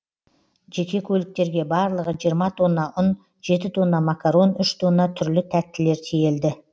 жеке көліктерге барлығы жиырма тонна ұн жеті тонна макарон үш тонна түрлі тәттілер тиелді